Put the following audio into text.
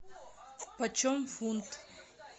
почем фунт